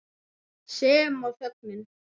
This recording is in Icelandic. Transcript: Sem og þögnin.